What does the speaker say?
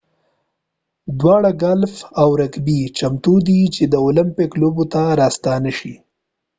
دواړه ګالف او رګبي چمتو دي چې د المپیک لوبو ته راستانه شي